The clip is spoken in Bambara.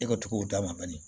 E ka cogow d'a ma bani